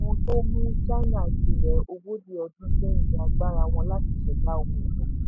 ohun tó ohun tó mú china gbilẹ̀ ogójì ọdún sẹ́yìn ni agbára wọn láti ṣẹ̀dá ohun èlò.